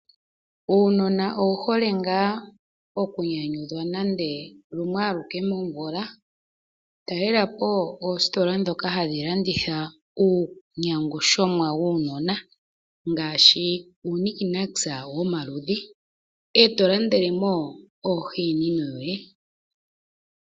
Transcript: Uunona owu hole ngaa oku nyanyudhwa nande lumwe aluke momvula, talelapo oositola ndhoka hadhi landitha uunyangushomwa wuunona ngaashi uunikinakisa womaludhi, eto landelemo oomanino yoye.